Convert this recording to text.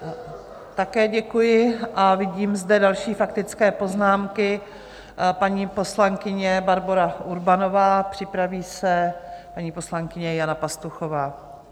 Také děkuji a vidím zde další faktické poznámky: paní poslankyně Barbora Urbanová, připraví se paní poslankyně Jana Pastuchová.